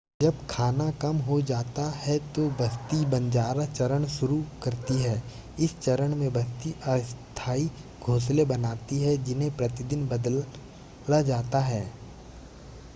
जब खाना कम हो जाता है तो बस्ती बंजारा चरण शुरू करती है इस चरण में बस्ती अस्थाई घोंसले बनाती है जिन्हें प्रतिदिन बदला जाता है